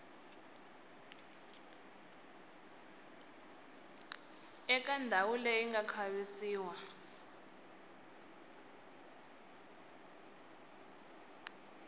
eka ndhawu leyi nga khavisiwa